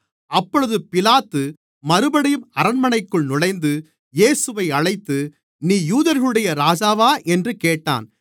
அப்பொழுது பிலாத்து மறுபடியும் அரண்மனைக்குள் நுழைந்து இயேசுவை அழைத்து நீ யூதர்களுடைய ராஜாவா என்று கேட்டான்